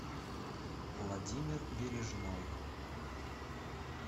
владимир бережной